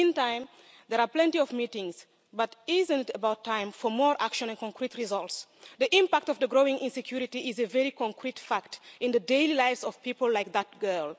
In the meantime, there are plenty of meetings, but isn't it about time for more action and concrete results? The impact of the growing insecurity is a very concrete fact in the daily lives of people like that girl.